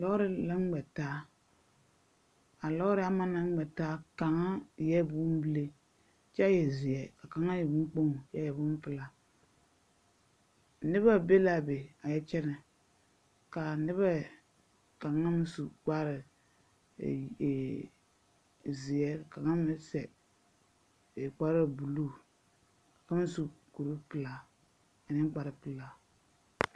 Lɔɔre la ŋmɛ taa. A lɔɔre ama naŋ ŋmɛ taa kaŋa eɛ bombile kyɛ e zeɛ ka kaŋa meŋ e boŋkpoŋ kyɛ e bompelaa. Nebɛ be la a be a yɛ kyɛnɛ, kaa nebɛ kaŋa su kapre e e zeɛ ka kaŋa meŋ sɛ kparebuluu a pãã su kur-pelaa ane kparepelaa.